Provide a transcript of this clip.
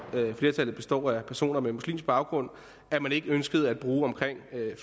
flertallet består af personer med muslimsk baggrund at man ikke ønskede at bruge omkring